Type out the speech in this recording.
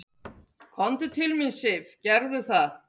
"""Komdu til mín, Sif, gerðu það."""